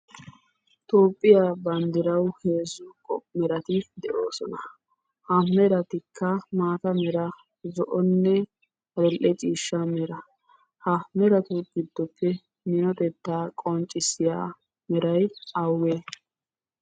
Toophphiyaa bandrawu heezzu meray de'ossona, ha merattikka maata mera zo'onne adl'e ciishsha mera. Ha meratu gidoppe minotteta qoncissiyas meray awugge?